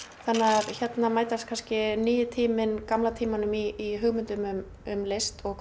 þannig að þarna mætast kannski nýi tíminn gamla tímanum í hugmyndum um um list og